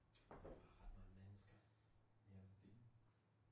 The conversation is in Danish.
Var ret mange mennesker derinde